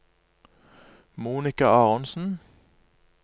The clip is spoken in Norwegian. Monika Aronsen